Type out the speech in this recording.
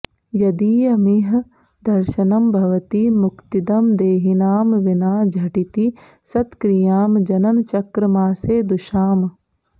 यदीयमिह दर्शनं भवति मुक्तिदं देहिनां विना झटिति सत्क्रियां जननचक्रमासेदुषाम्